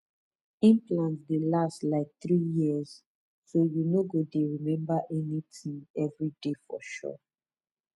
implant dey last like three years so you no go dey remember anything every day for sure